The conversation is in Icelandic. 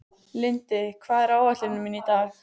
Lindi, hvað er á áætluninni minni í dag?